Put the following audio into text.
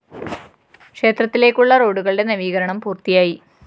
ക്ഷേത്രത്തിലേക്കുള്ള റോഡുകളുടെ നവീകരണം പൂര്‍ത്തിയായി